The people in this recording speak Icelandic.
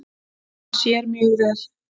Hann sér mjög vel.